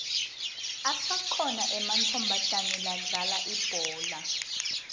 asakhona ematfomatana ladlala ibhola